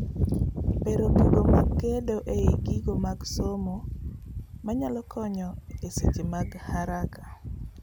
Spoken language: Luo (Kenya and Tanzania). bero gigo mag gedo ei gigo mag somo manyalo konyo e seche mag haraka